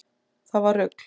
Það var rugl